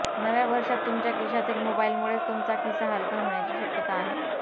नव्या वर्षात तुमच्या खिशातील मोबाईलमुळेच तुमचा खिसा हलका होण्याची शक्यता आहे